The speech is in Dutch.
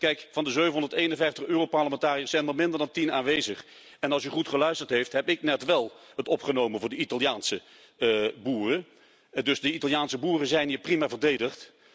Kijk, van de 751 Europarlementariërs zijn er minder dan tien aanwezig en als u goed geluisterd heeft, heb ik het net wel opgenomen voor de Italiaanse boeren, dus de Italiaanse boeren zijn hier prima verdedigd.